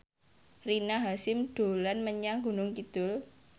Rina Hasyim dolan menyang Gunung Kidul